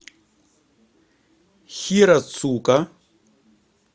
хирацука